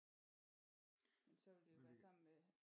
Men så ville det jo være sammen med